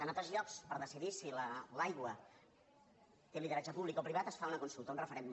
en altres llocs per decidir si l’aigua té lideratge públic o privat es fa una consulta un referèndum